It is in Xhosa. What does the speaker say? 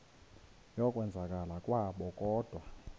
yokwenzakala kwabo kodwa